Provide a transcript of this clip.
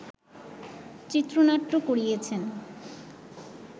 চিত্রনাট্য করিয়েছেন